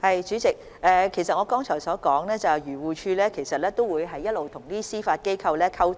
主席，我剛才提到漁護署會與司法機構保持溝通。